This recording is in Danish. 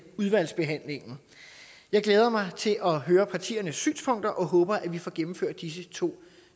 udvalgsbehandlingen jeg glæder mig til at høre partiernes synspunkter og håber at vi får gennemført disse to